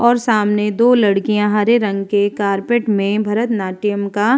और सामने दो लड़किया हरे रंग के कार्पेट में भरत नाट्यम का --